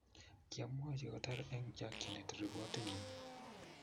Kyamwachi kotar eng chakchinet ripotinyi.